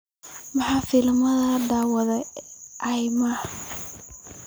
maxaa filimada la daawado i. max